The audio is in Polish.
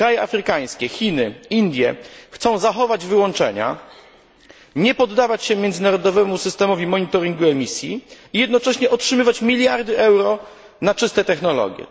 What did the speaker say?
Kraje afrykańskie, Chiny, Indie chcą zachować wyłączenia, nie poddawać się międzynarodowemu systemowi monitoringu emisji i jednocześnie otrzymywać miliardy euro na czyste technologie.